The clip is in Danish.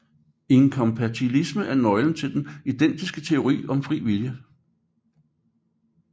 Inkompatibilisme er nøglen til den idealistiske teori om fri vilje